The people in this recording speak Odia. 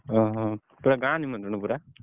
ଓହୋ ପୁରା ଗାଁ ନିମନ୍ତ୍ରଣ ପୁରା?